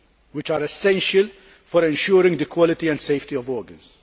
which are essential for ensuring the quality and safety of organs.